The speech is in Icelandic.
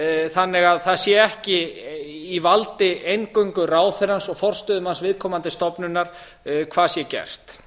þannig að það sé ekki í valdi eingöngu ráðherrans og forstöðumanns viðkomandi stofnunar hvað sé gert